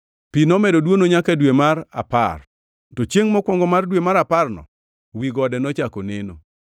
Pi nomedo dwono nyaka dwe mar apar, to chiengʼ mokwongo mar dwe mar aparno wi gode nochako neno.